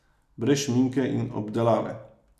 Brez šminke in obdelave.